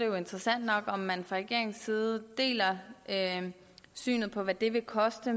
jo interessant nok om man fra regeringens side deler det syn på hvad det vil koste